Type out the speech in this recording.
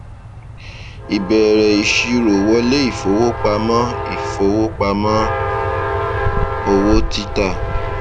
ìbẹrẹ ìṣirò wọlé ìfowópamọ ìfowópamọ owó títà